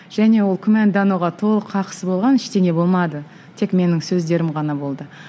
және ол күмәндануға толық қақысы болған ештеңе болмады тек менің сөздерім ғана болды